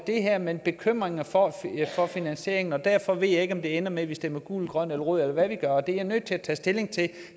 det her men bekymrede for finansieringen og derfor ved jeg ikke om det ender med at vi stemmer gult grønt eller rødt eller hvad vi gør det er jeg nødt til først at tage stilling